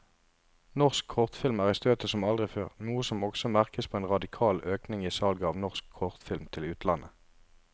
Norsk kortfilm er i støtet som aldri før, noe som også merkes på en radikal økning i salget av norsk kortfilm til utlandet.